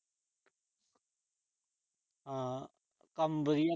ਹਾਂ, ਕੰਮ ਵਧੀਆ।